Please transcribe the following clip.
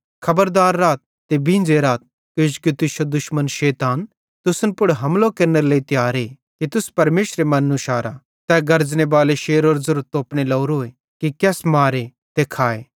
खबरदार राथ ते बींझ़े राथ किजोकि तुश्शो दुश्मन शैतान तुसन पुड़ हमलो केरनेरे लेइ तियारे कि तुस परमेशरे मन्नू शारा तै गर्ज़नेबाले शेरे ज़ेरो तोपने लोरो कि केस मारे ते खाए